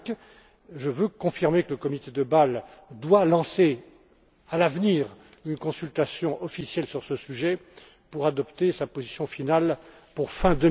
5. Je veux confirmer que le comité de Bâle doit lancer, à l'avenir, une consultation officielle sur ce sujet pour adopter sa position finale pour fin